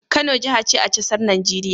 Kano jahace a casar Nigeria?